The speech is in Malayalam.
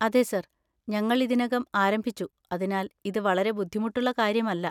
അതെ സർ, ഞങ്ങൾ ഇതിനകം ആരംഭിച്ചു, അതിനാൽ ഇത് വളരെ ബുദ്ധിമുട്ടുള്ള കാര്യമല്ല.